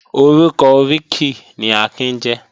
Orúkọ oríkì ni Akin jẹ́